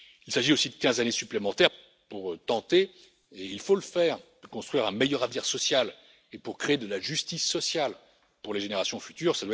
Il s'agit aussi de quinze années supplémentaires pour tenter et il faut le faire de construire un meilleur avenir social et de créer de la justice sociale pour les générations futures.